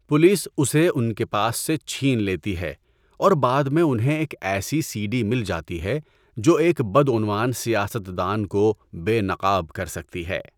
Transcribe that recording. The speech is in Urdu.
پولیس اسے ان کے پاس سے چھین لیتی ہے اور بعد میں انہیں ایک ایسی سی ڈی مل جاتی ہے جو ایک بدعنوان سیاست دان کو بے نقاب کر سکتی ہے۔